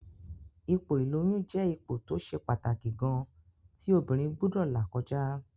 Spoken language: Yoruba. Ipò ìlóyún jẹ́ ipò tó ṣe pàtàkì gan-an tí obìnrin gbúdọ̀ là kọjá